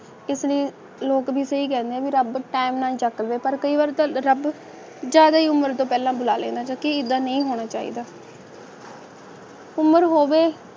ਇਸ ਲਈ ਯੋਗ ਵੀ ਸਹੀ ਕਹਿੰਦੇ ਨੇ ਰੱਬ ਨੂੰ ਤਾਹਨਾ ਚੱਕਦੇ ਪਰ ਕਈ ਹੋਰ ਧਰਮ ਜਾ ਰਹੀ ਉਮਰ ਤੋਂ ਪਹਿਲਾਂ ਮੁਲਾਇਮ ਰਹੇਗੀ ਇਹਦਾ ਨਹੀਂ ਹੋਣਾ ਚਾਹੀਦਾ ਉਮਰ ਹੋਗੇ ਹੈ